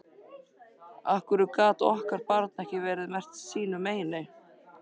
Af hverju gat okkar barn ekki verið merkt sínu meini?